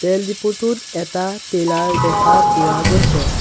তেল ডিপু টোত এটা টেলাৰ দেখা পোৱা গৈছে।